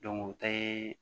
o tɛ